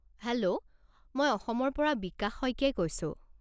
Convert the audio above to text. Hello! মই অসমৰ পৰা বিকাশ শইকীয়াই কৈছোঁ।